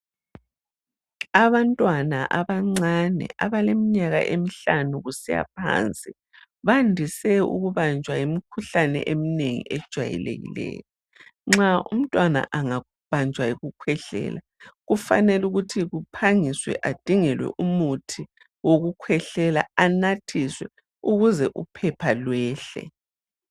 Abantwana abancane abaleminyaka emihlanu kusiya phansi, bandise ukubanjwa yimkhuhlane eminengi ejwayelekileyo. Nxa umntwana angabanjwa yikukhwehlela, kufanele ukuthi kuphangiswe adingelwe umuthi wokukhwehlela anathiswe ukuze uphepha lwehle.